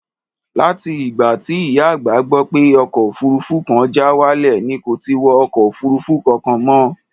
Láti ìgbà tí ìyá àgbà gbọ́ pé ọkọ̀ òfuurufú kan já wálẹ̀ ni kò ti wọ ọkọ̀ òfuurufú kankan mọ́.